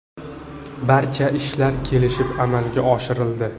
Barcha ishlar kelishib amalga oshirildi.